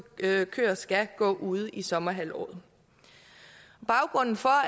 køer skal gå ude i sommerhalvåret baggrunden for